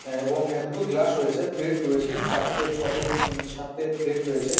আ এবং দুটো গ্লাস রয়েছেপ্লেট রয়েছে চারটি ছটে হুমম সাত তে প্লেট রয়েছে।